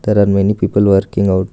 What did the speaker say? There are many people working out.